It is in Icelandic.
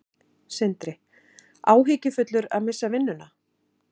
Sindri: Áhyggjufullur að missa vinnuna?